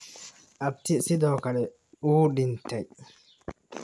Abtii sidoo kale wuu dhintay.